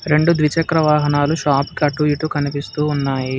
రెండు ద్విచక్ర వాహనాలు షాప్ కటు ఇటు కనిపిస్తూ ఉన్నాయి.